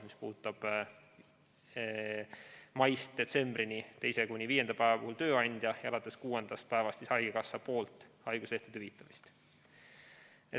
See puudutab seda, et maist detsembrini hüvitab teisest kuni viienda päevani tööandja ja alates kuuendast päevast haigekassa.